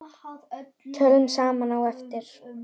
Tölum saman á eftir.